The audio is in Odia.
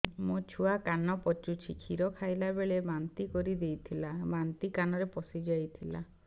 ମୋ ଛୁଆ କାନ ପଚୁଛି କ୍ଷୀର ଖାଇଲାବେଳେ ବାନ୍ତି କରି ଦେଇଥିଲା ବାନ୍ତି କାନରେ ପଶିଯାଇ ଥିଲା